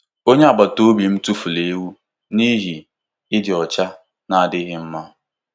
Onye agbata obi m tụfuru ewu n'ihi ịdị ọcha na-adịghị mma.